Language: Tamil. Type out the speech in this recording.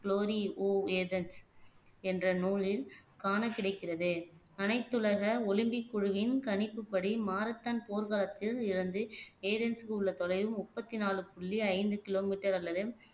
ஒவ் ஏதன்ஸ் என்ற நூலில் காணக்கிடைக்கிறது அனைத்துலக ஒலிம்பிக் குழுவின் கணிப்புப்படி மாரத்தான் போர்க்களத்தில் இருந்து ஏதன்ஸ்க்கு உள்ள தொலைவு முப்பத்தி நாலு புள்ளி ஐந்து கிலோமீட்டர் அல்லது